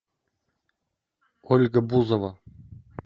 ольга бузова